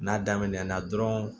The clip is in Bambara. N'a daminɛna dɔrɔn